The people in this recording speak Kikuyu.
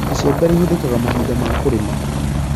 Icembe rĩhuthĩkaga mahinda ma kũrĩma